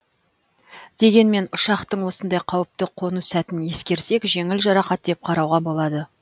дегенмен ұшақтың осындай қауіпті қону сәтін ескерсек жеңіл жарақат деп қарауға болады